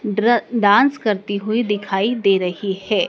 ड्र डांस करती हुई दिखाई दे रही है।